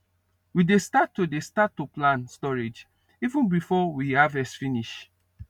we dey start to dey start to plan storage even before we harvest finish